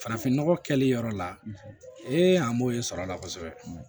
Farafinnɔgɔ kɛli yɔrɔ la ee an b'o ye sɔrɔla kosɛbɛ